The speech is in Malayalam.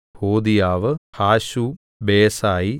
ഹോദീയാവ് ഹാശും ബേസായി